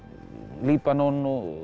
Líbanon